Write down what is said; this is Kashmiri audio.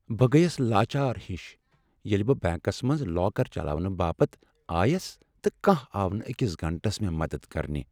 بہٕ گٔیس لاچار ہش ییٚلہ بہٕ بنٛکس منٛز لاکر چلاونہٕ باپت آیس تہٕ کانٛہہ آو نہٕ أکس گنٹس مےٚ مدد کرنہٕ ۔